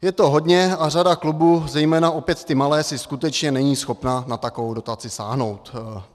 Je to hodně a řada klubů, zejména opět ty malé, si skutečně není schopna na takovou dotaci sáhnout.